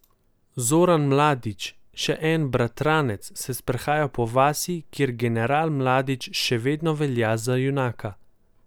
Zoran Mladić, še en bratranec, se sprehaja po vasi, kjer general Mladić še vedno velja za junaka.